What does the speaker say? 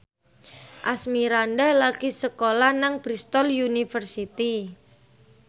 Asmirandah lagi sekolah nang Bristol university